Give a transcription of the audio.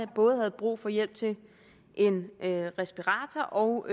både havde brug for hjælp til en respirator og